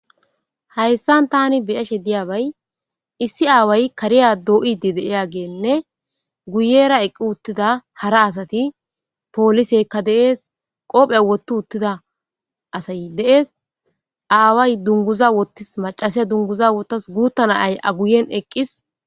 Haysan tan beyashe diyabay issi away kariya do'id de'iyageynne guyera eqi utida hara asat poliseyka de'es qope wothi utida asay de'es , away dunguza wutis, macasiya dunguza wotasu , guta na'ay a guyen eqis.